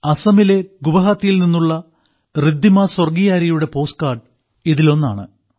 അസമിലെ ഗുവാഹത്തിയിൽ നിന്നുള്ള റിദ്ദിമ സ്വർഗിയാരിയുടെ പോസ്റ്റ് കാർഡ് ഇതിലൊന്നാണ്